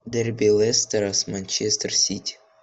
дерби лестера с манчестер сити